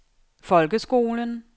folkeskolen